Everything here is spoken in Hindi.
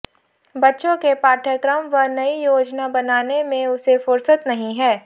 बच्चों के पाठ्यक्रम व नई योजना बनाने में उसे फुर्सत नहीं है